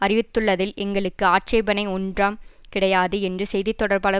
அறிவித்துள்ளதில் எங்களுக்கு ஆட்சேபணை ஒன்றாம் கிடையாது என்று செய்தி தொடர்பாளர்